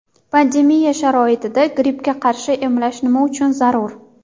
Pandemiya sharoitida grippga qarshi emlash nima uchun zarur?